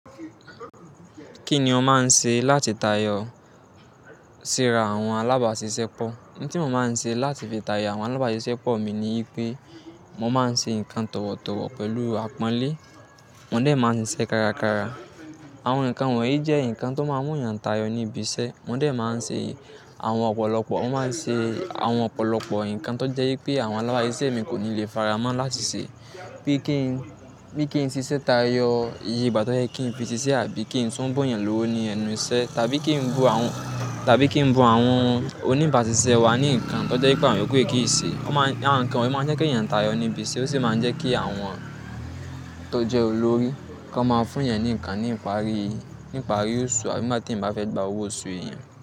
Kí ni o máa ń ṣe láti tayọ síra àwọn alábàáṣiṣẹ́ pọ̀? Nǹ tí mo máa ń ṣe láti fi tayọ àwọn alábáàṣiṣẹ́pọ̀ mi ni wípé mo máa ń ṣe ǹkan tọ̀wọ̀tọ̀wọ̀ pẹ̀lú àpọ́nlé, mo de máa ń ṣiṣẹ́ kárakára. Àwọn ǹkan wọ̀nyí jẹ́ ǹkan tó máa ń mú èeyàn tayọ níbi iṣẹ́. Mo de máa ń ṣe àwọn ọ̀pọ̀lọpọ̀, mo máa ń ṣe àwọn ọ̀pọ̀lọpọ̀ ǹkan tó jẹ́ wípé àwọn alábáàṣisẹ́ mi kò ní le faramọ́ láti ṣe. Bí kí n, bí kí n ṣiṣẹ́ tayọ iye ìgbà tó yẹ́ kí n fi ṣiṣẹ́ àbí kí n tún bunyan lówó ní ẹnu iṣẹ́, tàbí kí n bun àwọn, tàbí kí n bun àwọn oníbàaṣiṣẹ́ wa ní ǹkan tó jẹ́ pé àwọn yoòkú yí kì í ṣe. Wọ́n máa ń, àwọn ǹkan wọ̀nyí máa ń jẹ́ kí èeyàn tayọ níbi iṣẹ́, ó sì máa ń jẹ́ kí àwọn tó jẹ́ olórí kan máa fúnyan ní ǹkan nípari, níparí oṣù, àbí nigbá tí eeyan bá fẹ́ gba owó oṣù èèyàn.